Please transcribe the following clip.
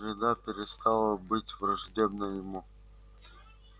среда перестала быть враждебной ему